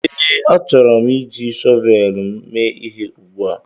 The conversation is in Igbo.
ee, achọrọ m iji shọvel m mee ihe ugbu a